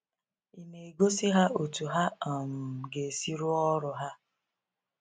ịna egosi ha otu ha um ga esi rụọ ọrụ ha?